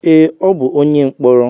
Ee, ọ bụ onye mkpọrọ.